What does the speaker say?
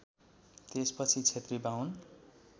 त्यसपछि क्षेत्री बाहुन